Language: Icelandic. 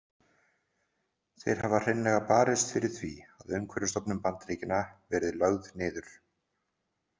Þeir hafa hreinlega barist fyrir því að Umhverfisstofnun Bandaríkjanna verið lögð niður.